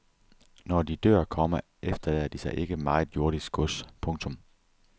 Når de dør, komma efterlader de sig ikke meget jordisk gods. punktum